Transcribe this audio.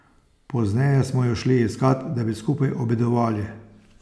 Pozneje smo ju šli iskat, da bi skupaj obedovali.